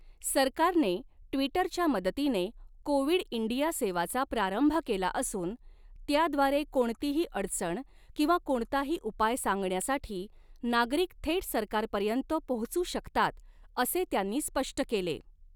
सरकारने ट्विटरच्या मदतीने कोविड इंडिया सेवा चा प्रारंभ केला असून त्याद्वारे कोणतीही अडचण किंवा कोणताही उपाय सांगण्यासाठी नागरिक थेट सरकारपर्यँत पोहोचू शकतात असे त्यांनी स्पष्ट केले.